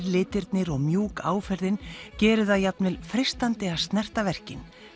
litirnir og mjúk áferðin gera það jafnvel freistandi að snerta verkin